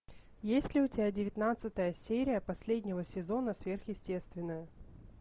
есть ли у тебя девятнадцатая серия последнего сезона сверхъестественное